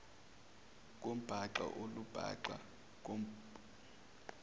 kwembaxa olumbaxa ngokwandile